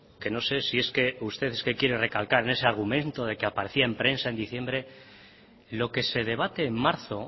que no sé si es que usted quiere recalcar ese argumento de que apareció en prensa en diciembre lo que se debate en marzo